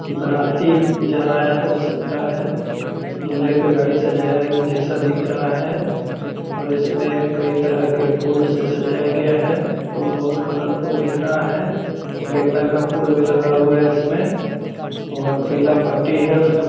बाराती जा रहा है हो सकता है दूल्हे का गाड़ी सजाया जैसा दिख रहा है और इसमें कई तरह के फूल से सजाया गया है फूल बहोत कलर फूल लग रहा है गेंदा का फूल भी लगा हुआ है इसमें और पीला पट्टी है इसमें --